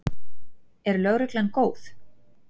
Er lögreglan góð?